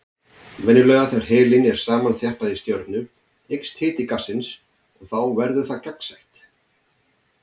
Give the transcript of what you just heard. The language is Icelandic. Venjulega þegar helín er samþjappað í stjörnu eykst hiti gassins og þá verður það gagnsætt.